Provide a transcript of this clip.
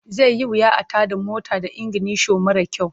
Zai yi wuya a tada motar da iginisho mara kyau.